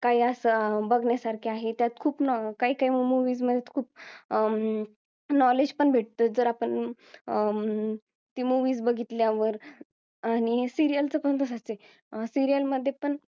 काय असं बघण्यासारखे आहे त्यात खूप काय काय movies खूप अं knowledge पण भेटत जर आपण अं ते movies बघितल्यावर आणि serial च पण तसंच आहे serial ध्ये पण